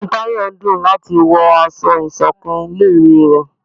Inú tayo n dún lati wọ ásọ̀-ìsokán tí ilé ìwé ré